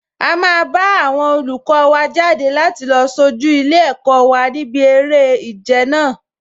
A máa bá àwọn olùkọ wa jáde láti lọ sojú ilé-ẹ̀kọ́ wa níbi eré ìje náà